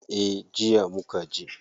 Eh, jiya mukaje.